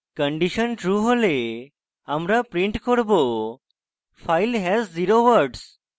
condition true হলে আমরা print করব file has zero words